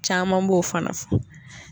Caman b'o fana fɔ